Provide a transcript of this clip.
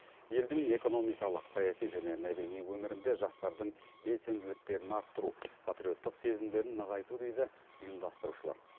елдің экономикалық саяси және мәдени өмірінде жастардың белсенділіктерін арттыру патриоттық сезімдерін нығайту дейді ұйымдастырушылар